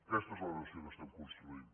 aquesta és la nació que estem construint